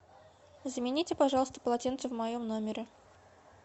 замените пожалуйста полотенце в моем номере